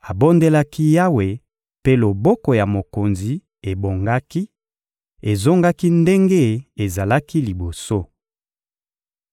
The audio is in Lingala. abondelaki Yawe, mpe loboko ya mokonzi ebongaki, ezongaki ndenge ezalaki liboso.